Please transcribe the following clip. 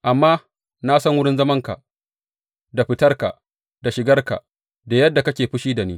Amma na san wurin zamanka da fitarka da shigarka da yadda kake fushi da ni.